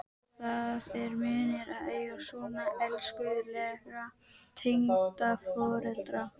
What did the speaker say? Það er munur að eiga svona elskulega tengdaforeldra.